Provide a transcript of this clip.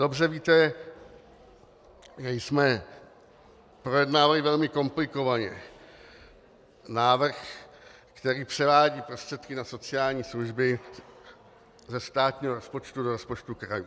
Dobře víte, že jsme projednávali velmi komplikovaně návrh, který převádí prostředky na sociální služby ze státního rozpočtu do rozpočtu krajů.